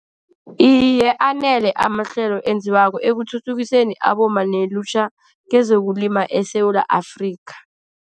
Iye, anele amahlelo enziwako ekuthuthukiseni abomma nelutjha kezokulima eSewula Afrika.